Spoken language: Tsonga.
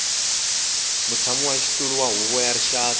mutshamaxitulu wa huvo ya rixaka